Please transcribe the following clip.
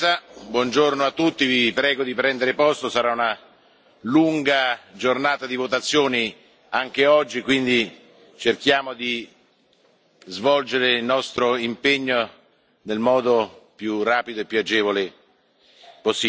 Buongiorno a tutti, vi prego di prendere posto, sarà una lunga giornata di votazioni anche oggi, quindi cerchiamo di svolgere il nostro impegno nel modo più rapido e più agevole possibile.